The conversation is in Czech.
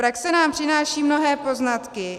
Praxe nám přináší mnohé poznatky.